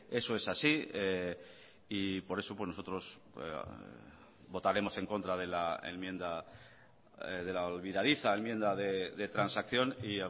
eso es así y por eso nosotros votaremos en contra de la enmienda de la olvidadiza enmienda de transacción y